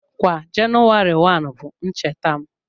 Kwa Jenụwarị 1 bụ ncheta m